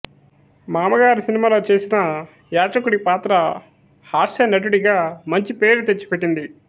మామగారు సినిమాలో చేసిన యాచకుడి పాత్ర హాస్యనటుడిగా మంచి పేరు తెచ్చిపెట్టింది